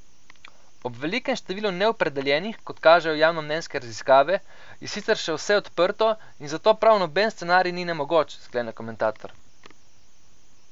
Ob velikemu številu neopredeljenih, kot kažejo javnomnenjske raziskave, je sicer še vse odprto, in zato prav noben scenarij ni nemogoč, sklene komentator.